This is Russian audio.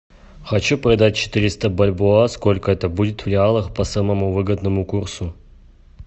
хочу продать четыреста бальбоа сколько это будет в реалах по самому выгодному курсу